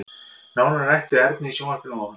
Nánar er rætt við Ernu í sjónvarpinu að ofan.